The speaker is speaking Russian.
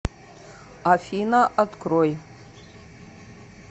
афина открой